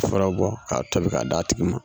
Fura bɔ k'a tobi k'a d'a tigi ma.